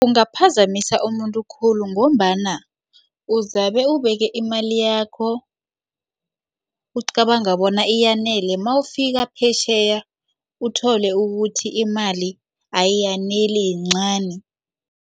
Ungaphazamisa umuntu khulu ngombana uzabe ubeke imali yakho ucabanga bona iyanele mawufika phetjheya uthole ukuthi imali ayaneli yincani.